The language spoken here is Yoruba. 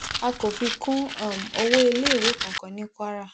a kò fi kún um owó iléèwé kankan ní kwara